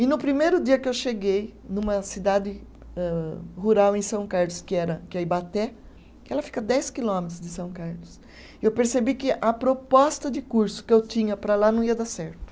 E no primeiro dia que eu cheguei numa cidade âh rural em São Carlos, que era, que é Ibaté, que ela fica dez quilômetros de São Carlos, eu percebi que a proposta de curso que eu tinha para lá não ia dar certo.